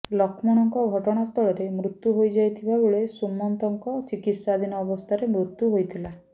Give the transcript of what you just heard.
ଲକ୍ଷ୍ମଣଙ୍କ ଘଟଣାସ୍ଥଳରେ ମୃତ୍ୟୁ ହୋଇଯାଇଥିବା ବେଳେ ସୁମନ୍ତଙ୍କ ଚିକିତ୍ସାଧୀନ ଅବସ୍ଥାରେ ମୃତ୍ୟୁ ହୋଇଥିଲା